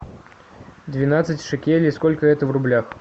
двенадцать шекелей сколько это в рублях